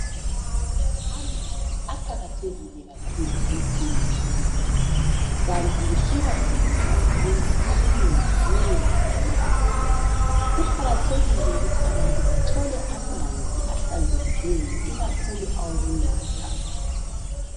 Amanzi aqakathekile kakhulu empilweni yomuntu. Kanti kuthiwa umzimba womuntu okunengi kuwo ngamanzi. Kuqakathekile kakhulu ukuthi bathole amanzi ahlanzekileyo ikakhulu awokunatha.